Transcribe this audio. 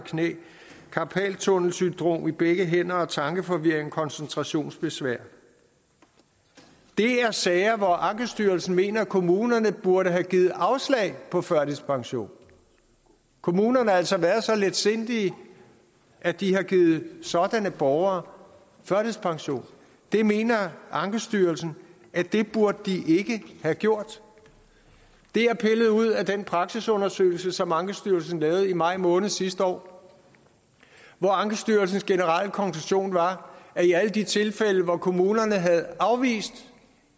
og knæ karpaltunnelsyndrom i begge hænder tankeforvirring og koncentrationsbesvær det er sager hvor ankestyrelsen mener at kommunerne burde have givet afslag på førtidspension kommunerne har altså været så letsindige at de har givet sådanne borgere førtidspension det mener ankestyrelsen at de ikke burde have gjort det er pillet ud af den praksisundersøgelse som ankestyrelsen lavede i maj måned sidste år hvor ankestyrelsens generelle konklusion var at i alle de tilfælde hvor kommunerne havde afvist